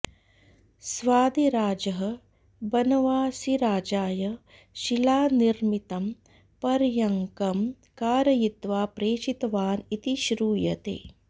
स्वादिराजः बनवासिराजाय शिलानिर्मितं पर्यङ्कं कारयित्वा प्रेषितवान् इति श्रूयते